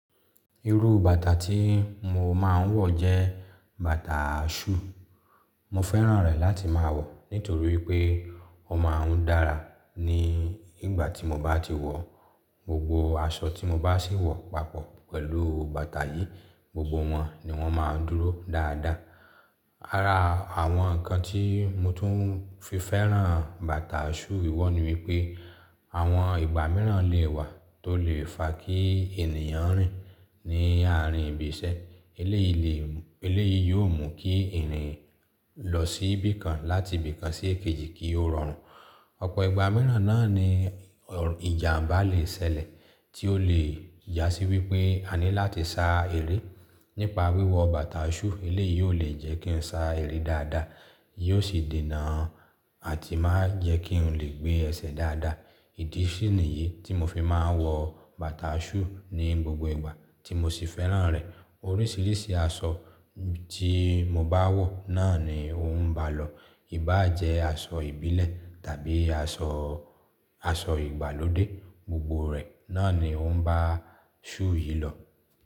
Irú bàtà tí mo máa ń wọ̀ jẹ́ bàtà shoe. Mo fẹ́ràn rẹ̀ láti máa wọ̀ nítorí pé ó máa ń dára ní ìgbà tí mo bá ti wọ̀. Gbogbo aṣọ tí mo bá sì wọ̀ papọ̀ pẹ̀lú bàtà yìí, gbogbo wọn ni wọ́n máa ń dúró dáadáa. Ara àwọn ǹkan tí mo tún fi fẹ́ràn bàtà shoe wíwọ́ ni wípé àwọn ìgbà mìíràn lè wà tó lè fa kí ènìyàn rìn ní àárín ibi iṣẹ́. Eléyìí lè, eléyìí yóò mú kí ènìyàn lọ sí ibì kan láti ibì kan sí èkejì kí ó rọrùn. Ọ̀pọ̀ ìgbà mìíràn náà ni ìjàmbá lè ṣẹlẹ̀ tí ó lè yá sí wípé a ní láti sa eré. Nípa wíwọ̀ bàtà shoe, eléyìí yóò lè jẹ́ kí n sa eré dáadáa, yóò sì dènà àti máa jẹ́ kí n lè gbé ẹsẹ̀ dáadáa. Ìdí sì niyì tí mo fi máa ń wọ bàtà shoe ní gbogbo ìgbà tí mo sì fẹ́ràn rẹ̀. Oríṣiríṣi aṣọ tí mo bá wọ̀ náà ni ó ń bá lọ. Í bá jẹ́ aṣọ ìbílẹ̀ tàbí aṣọ, aṣọ ìgbàlódé, gbogbo rẹ̀ náà ni ó ń bá shoe yìí lọ.